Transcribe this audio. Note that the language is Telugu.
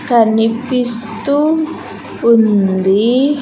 కనిపిస్తూ ఉంది.